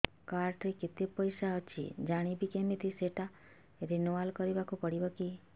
card ରେ କେତେ ପଇସା ଅଛି ଜାଣିବି କିମିତି ସେଟା ରିନୁଆଲ କରିବାକୁ ପଡ଼ିବ କି